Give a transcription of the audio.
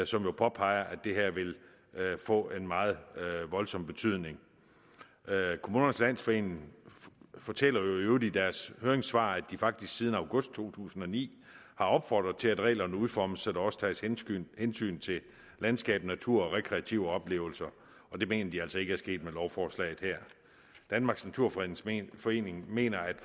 som jo påpeger at det her vil få en meget voldsom betydning kommunernes landsforening fortæller øvrigt i deres høringssvar at de faktisk siden august to tusind og ni har opfordret til at reglerne udformes så der også tages hensyn hensyn til landskab natur og rekreative oplevelser og det mener de altså ikke er sket med lovforslaget her danmarks naturfredningsforening mener at